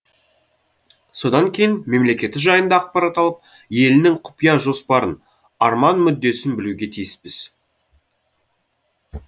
содан кейін мемлекеті жайында ақпарат алып елінің құпия жоспарын арман мүддесін білуге тиіспіз